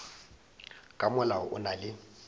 ka molao o na le